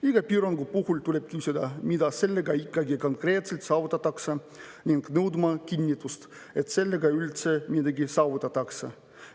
Iga piirangu puhul tuleb küsida, mida sellega ikkagi konkreetselt saavutatakse ning nõudma kinnitust, et sellega üldse midagi saavutatakse.